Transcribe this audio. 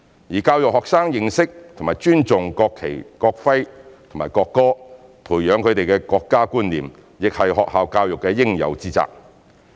而教育學生認識和尊重國旗、國徽和國歌，培養他們的國家觀念，亦是學校教育的應有之責。